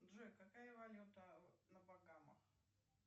джой какая валюта на багамах